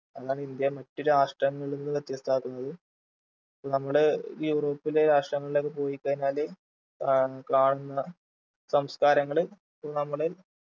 അതാണ് ഇന്ത്യയെ മറ്റു രാഷ്ട്രങ്ങളിൽ നിന്ന് വ്യത്യസ്തമാക്കുന്നത് നമ്മൾ യൂറോപ്പിലെ രാഷ്ട്രങ്ങളിലൊക്കെ പോയിക്കഴിഞ്ഞാൽ ആഹ് കാണുന്ന സംസ്കാരങ്ങൾ നമ്മള്